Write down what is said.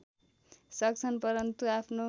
सक्छन् परन्तु आफ्नो